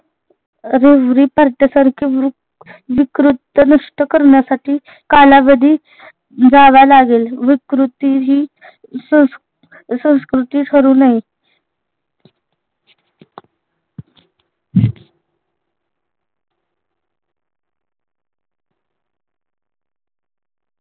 रेवरी पार्ट्या सारखे विक् विकृती नष्ट करण्यासाठी कालावधी जावा लागेल विकृती सं संस्कृति ठरू नये